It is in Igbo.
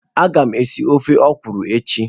Agam esi ofe okwụrụ echi.